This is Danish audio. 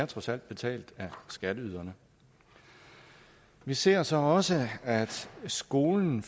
trods alt betalt af skatteyderne vi ser så også at skolen